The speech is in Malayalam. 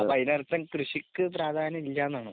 അപ്പോൾ അതിന് അർഥം കൃഷിക്ക് പ്രാധാന്യം ഇല്ല എന്നാണോ?